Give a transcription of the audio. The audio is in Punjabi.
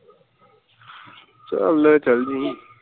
ਚੱਲ ਚਲਜੀ